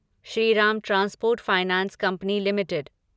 Shriram transport finance company limited